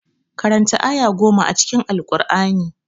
Karanta aya goma a cikin Alkur'ani.